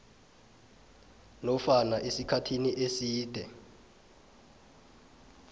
nofana esikhathini eside